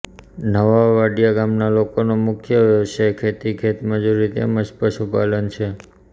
નવા વાડીયા ગામના લોકોનો મુખ્ય વ્યવસાય ખેતી ખેતમજૂરી તેમ જ પશુપાલન છે